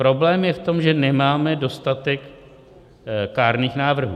Problém je v tom, že nemáme dostatek kárných návrhů.